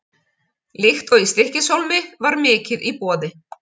Líkt og í Stykkishólmi var mikið í boði.